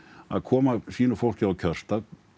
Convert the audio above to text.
að koma sínu fólki á kjörstað